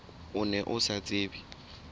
o ne o sa tsebe